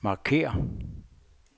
markér